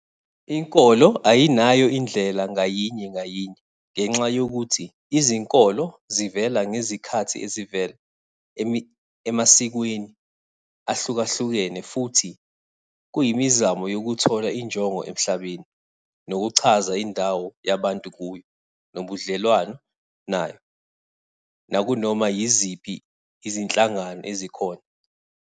Inkolo ayinayo indlela ngayinye ngayinye ngenxa yokuthi izinkolo zivela ngezikhathi ezivela emasikweni ahlukahlukene futhi kuyimizamo yokuthola injongo emhlabeni, nokuchaza indawo yabantu kuyo nobudlelwano nayo nakunoma yiziphi izinhlangano ezikhona.